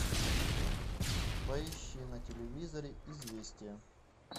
поищи на телевизоре известия